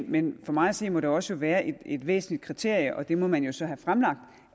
men for mig at se må det også være et væsentligt kriterium og det må man så have fremlagt